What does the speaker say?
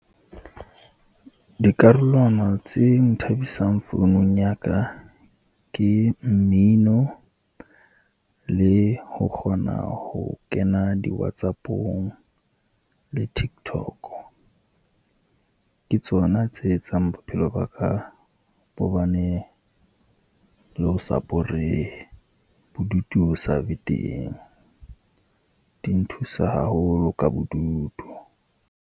Dikarolwana tse nthabisang founung ya ka, ke mmino le ho kgona ho kena di-Whatsapp-ong le Tiktok. Ke tsona tse etsang bophelo ba ka bo ba ne le ho sa borehe, bodutu bo sa be teng, di nthusa haholo ka bodutu.